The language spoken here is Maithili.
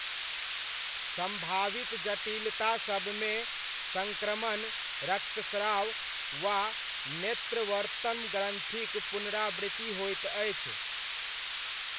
सम्भावित जटिलतासबमे, सङ्क्रमण, रक्तस्राव, वा नेत्रवर्त्मग्रन्थिक पुनरावृत्ति होइत अछि।